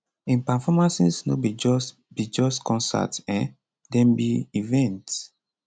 im performances no be just be just concerts um dem be events